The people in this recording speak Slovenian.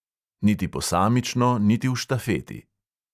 Niti posamično, niti v štafeti.